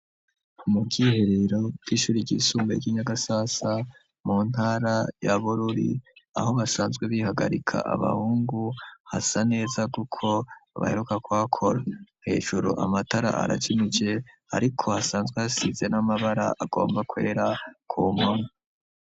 Umukiherero bw'ishuri ry'isumbaye ry'inyagasasa mu ntara yabururi aho basanzwe bihagarika abahungu hasa neza, kuko baheruka kwakora hejuru amatara arajinije, ariko hasanzwe hasize n'amabara agomba kwera kuma.